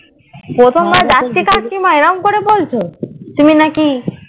প্রথম বার যাচ্ছি কাকিমা এইরকম করে বলছো তুমি নাকি